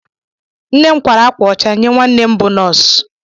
Nne m kwara akwa ọcha nye nwanne m bụ nọọsụ.